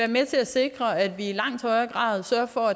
med til at sikre at vi i langt højere grad sørger for